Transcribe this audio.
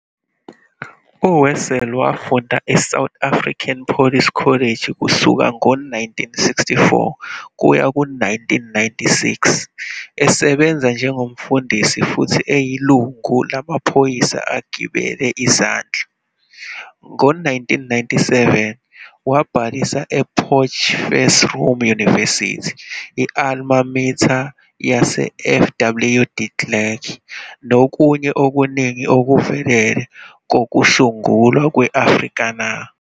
UWessels wafunda eSouth African Police College kusuka ngo-1964 kuya ku-1996, esebenza njengomfundisi futhi eyilungu lamaphoyisa agibele izandla. Ngo-1997, wabhalisa ePotchefsroom University, i-alma mater yaseFW de Klerk nokunye okuningi okuvelele kokusungulwa kwe-Afrikaner.